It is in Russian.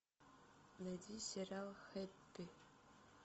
найди сериал хэппи